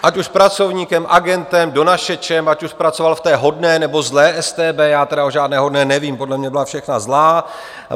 Ať už pracovníkem, agentem, donašečem, ať už pracoval v té hodné, nebo zlé StB - já tedy o žádné hodné nevím, podle mne byla všechna zl.